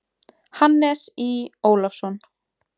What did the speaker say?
Hannes Í. Ólafsson.